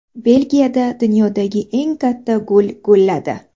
Belgiyada dunyodagi eng katta gul gulladi .